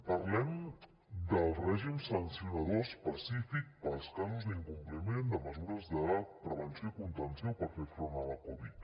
parlem del règim sancionador específic per als casos d’incompliment de mesures de prevenció i contenció per fer front a la covid